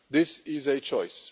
This is a choice.